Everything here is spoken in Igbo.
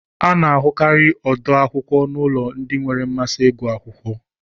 A na-ahụkarị ọdo akwụkwọ n'ụlọ ndị nwere mmasị ịgụ akwụkwọ